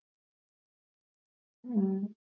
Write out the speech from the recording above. உம்